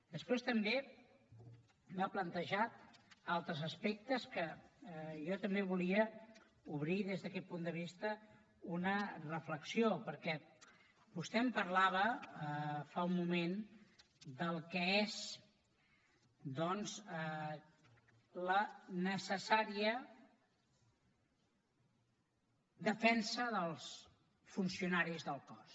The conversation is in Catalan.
després també m’ha plantejat altres aspectes que jo també volia obrir des d’aquest punt de vista una reflexió perquè vostè em parlava fa un moment del que és doncs la necessària defensa dels funcionaris del cos